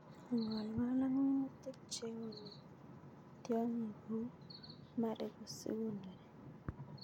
Ing'olng'ol ok minutik cheone tiong'ik kou mariko sikonori.